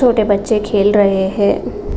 छोटे बच्चे खेल रहे है।